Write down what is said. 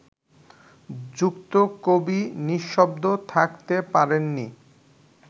যুক্ত কবি নিঃশব্দ থাকতে পারেননি